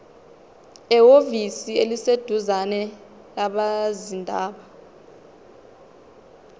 ehhovisi eliseduzane labezindaba